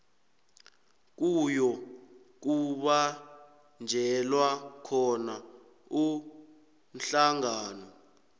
kuyokubanjelwa khona umhlangano